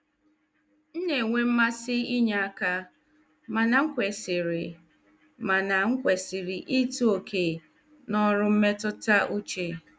M na-enwe mmasị inye aka, mana m kwesịrị mana m kwesịrị ịtọ oke na ọrụ mmetụta uche.